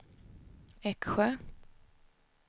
Eksjö